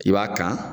I b'a kan